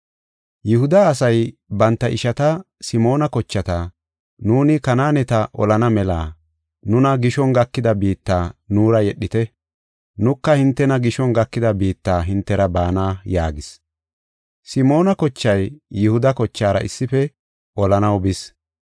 Yihuda asay banta ishata, Simoona kochata, “Nuuni Kanaaneta olana mela nuna gishon gakida biitta nuura yedhite. Nuka hintena gishon gakida biitta hintera baana” yaagis. Simoona kochay Yihuda kochaara issife olanaw bis.